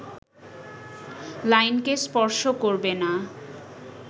লাইনকে স্পর্শ করবে না